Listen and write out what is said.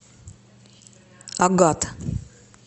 агат